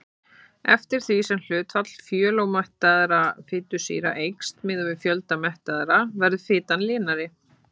Eftir því sem hlutfall fjölómettaðra fitusýra eykst miðað við fjölda mettaðra verður fitan linari.